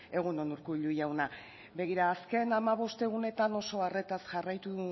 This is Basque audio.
egun on urkullu jauna begira azken hamabost egunetan oso arretaz jarraitu